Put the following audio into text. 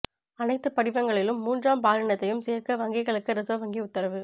அனைத்து படிவங்களிலும் மூன்றாம் பாலினத்தையும் சேர்க்க வங்கிகளுக்கு ரிசர்வ் வங்கி உத்தரவு